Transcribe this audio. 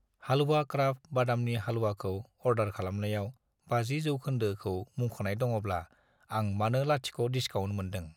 Halwa craft बादामनि हालवाखौ order खालामनायाव 50 % खौ मुंख'नाय दङब्ला, आं मानो लाथिख' डिसकाउन्ट मोनदों।